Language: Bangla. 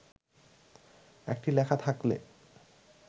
একটি লেখা থাকলে